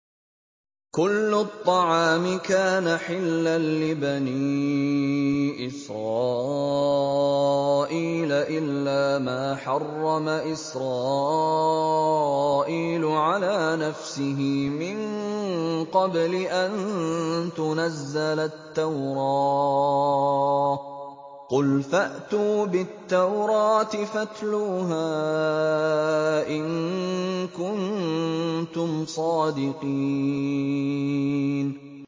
۞ كُلُّ الطَّعَامِ كَانَ حِلًّا لِّبَنِي إِسْرَائِيلَ إِلَّا مَا حَرَّمَ إِسْرَائِيلُ عَلَىٰ نَفْسِهِ مِن قَبْلِ أَن تُنَزَّلَ التَّوْرَاةُ ۗ قُلْ فَأْتُوا بِالتَّوْرَاةِ فَاتْلُوهَا إِن كُنتُمْ صَادِقِينَ